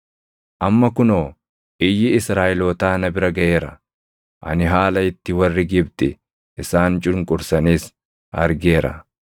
Amma kunoo iyyi Israaʼelootaa na bira gaʼeera. Ani haala itti warri Gibxi isaan cunqursanis argeera.